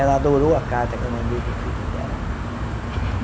Ela adorou a carta que eu mandei para o filho dela.